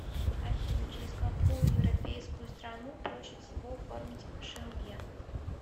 афина через какую европейскую страну проще всего оформить шенген